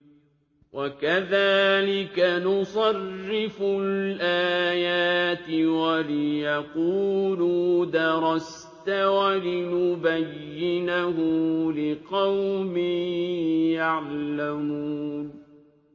وَكَذَٰلِكَ نُصَرِّفُ الْآيَاتِ وَلِيَقُولُوا دَرَسْتَ وَلِنُبَيِّنَهُ لِقَوْمٍ يَعْلَمُونَ